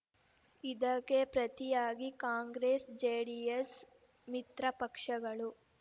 ಇದಕ್ಕೆ ಪ್ರತಿಯಾಗಿ ಕಾಂಗ್ರೆಸ್ ಜೆಡಿಎಸ್ ಮಿತ್ರಪಕ್ಷಗಳು